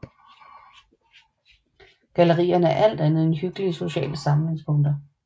Gallerierne er alt andet end hyggelige sociale samlingspunkter